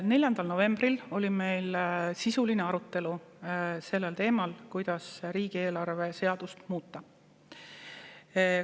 4. novembril oli meil sisuline arutelu sellel teemal, kuidas riigieelarve seadust muuta.